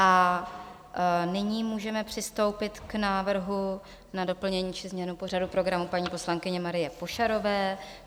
A nyní můžeme přistoupit k návrhu na doplnění či změnu pořadu programu paní poslankyně Marie Pošarové.